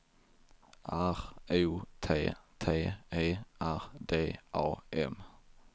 R O T T E R D A M